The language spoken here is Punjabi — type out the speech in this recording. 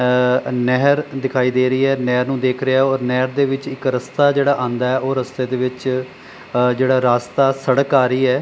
ਆ ਨਹਿਰ ਦਿਖਾਈ ਦੇ ਰਹੀ ਹੈ ਨਹਿਰ ਨੂੰ ਦੇਖ ਰਿਹਾ ਔਰ ਨਹਿਰ ਦੇ ਵਿੱਚ ਇੱਕ ਰਸਤਾ ਜਿਹੜਾ ਆਉਂਦਾ ਉਹ ਰਸਤੇ ਦੇ ਵਿੱਚ ਆ ਜਿਹੜਾ ਰਾਸਤਾ ਸੜਕ ਆ ਰਹੀ ਹੈ।